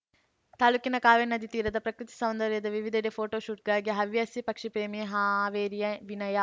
ತಾಲೂಕಿನ ಕಾವೇರಿ ನದಿ ತೀರದ ಪ್ರಕೃತಿ ಸೌಂದರ್ಯದ ವಿವಿಧೆಡೆ ಫೋಟೋ ಶೂಟ್‌ ಗಾಗಿ ಹವ್ಯಾಸಿ ಪಕ್ಷಿಪ್ರೇಮಿ ಹಾವೇರಿಯ ವಿನಯ